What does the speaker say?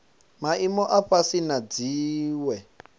maimo a fhasi na dziwe